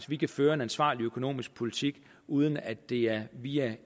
vi kan føre en ansvarlig økonomisk politik uden at det er via